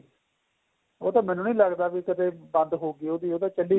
ਉਹ ਤਾਂ ਮੈਨੂੰ ਵੀ ਨਹੀਂ ਲੱਗਦਾ ਕਦੇਂ ਬੰਦ ਹੋਗੀ ਉਹਦੀ ਚੱਲੀ